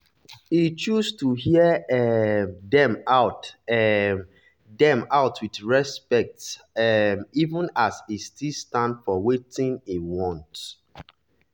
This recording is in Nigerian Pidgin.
e choose to hear um dem out um dem out with respect um even as e still stand for wetin e want.